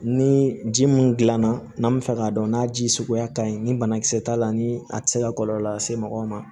Ni ji mun gilanna n'a bi fɛ k'a dɔn n'a ji suguya ka ɲi ni banakisɛ t'a la ni a ti se ka kɔlɔlɔ lase mɔgɔw ma